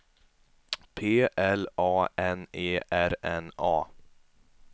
P L A N E R N A